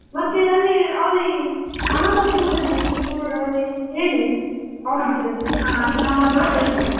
ಮತ್ತೆ ಅಲ್ಲಿ ಅನಾಥಾಶ್ರಮ ಎಲ್ಲಿ ನಿಮ್ಮದು ಅಲ್ಲಿ ಹೇಳಿ office ಅಲ್ಲಿ ಮಾತಾಡಿ.